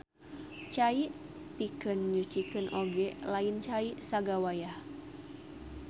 Cai pikeun nyucikeun oge lain cai sagawayah.